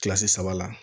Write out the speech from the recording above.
Kilasi saba la